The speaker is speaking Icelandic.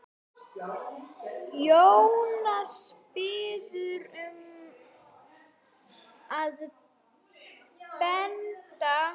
Jónas biður um að benda